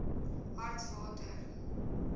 hartswater